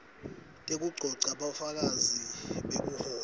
tekugcogca bufakazi bekuhlola